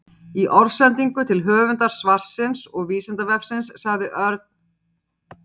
Í orðsendingu til höfundar svarsins og Vísindavefsins sagði Örn: